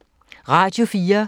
Radio 4